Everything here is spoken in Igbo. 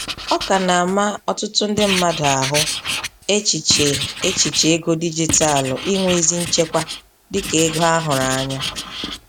Ọ ka na-ama ọtụtụ ndị mmadụ ahụ, echiche echiche ego dijitalu inwe ezi nchekwa dika ego a hụrụ anya.